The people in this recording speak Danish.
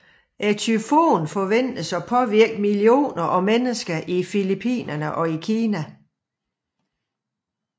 Tyfonen forventedes at påvirke millioner af mennesker i Filipinerne og i Kina